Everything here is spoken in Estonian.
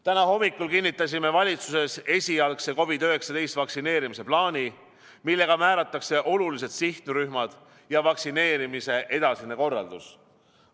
Täna hommikul kinnitasime valitsuses esialgse COVID-19 vaktsineerimise plaani, millega määratakse olulised sihtrühmad ja vaktsineerimise edasine korraldus.